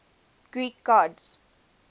greek gods